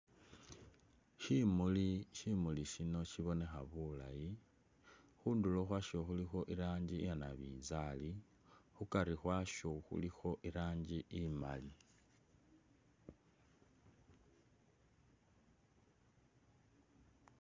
kyimuli, kyimuli kyino kyibonekha bulayi khunduro khwasho khulikho irangi iya nabinzali khukari khwasho khulikho irangi imali.